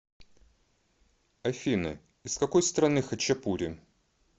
афина из какой страны хачапури